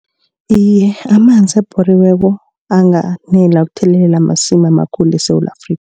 Iye amanzi abhoriweko anganela ukuthelelela amasimi amakhulu eSewula Afrika.